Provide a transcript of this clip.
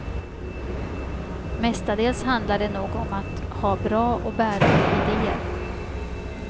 Mestadels handlar det nog om att ha bra och bärande ideer.